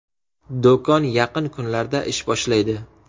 Do‘kon yaqin kunlarda ish boshlaydi.